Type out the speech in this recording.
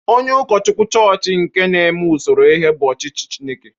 Onye ụkọchukwu chọọchị nke na-eme usoro ihe bụ ọchịchị Chineke.